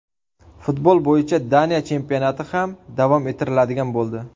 Futbol bo‘yicha Daniya chempionati ham davom ettiriladigan bo‘ldi.